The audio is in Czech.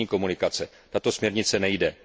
místních komunikací, tato směrnice nejde.